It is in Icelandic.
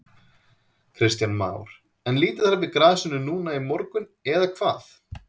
Kristján Már: En líta þær við grasinu núna í morgun eða hvað?